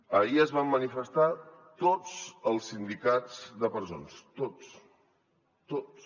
ahir es van manifestar tots els sindicats de presons tots tots